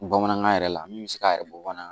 Bamanankan yɛrɛ la min bɛ se k'a yɛrɛ bɔ bana